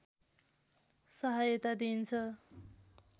सहायता दिइन्छ